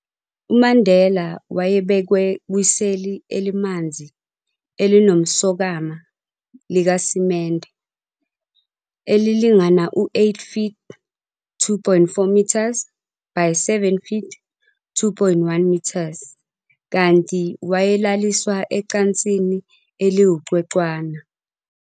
UMandela wayebekwe kwiseli elimanzi elinomsokama likasimende, elilingana u 8 feet, 2.4 m, by 7 feet, 2.1 m, kanti wayelaliswa ecansini eliwucwecwana.